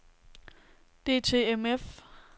DTMF